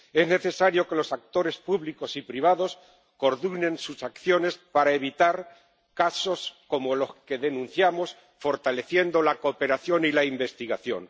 Es necesario que los actores públicos y privados coordinen sus acciones para evitar casos como los que denunciamos, fortaleciendo la cooperación y la investigación.